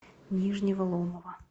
нижнего ломова